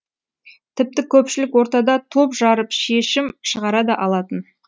тіпті көпшілік ортада топ жарып шешім шығара да алатын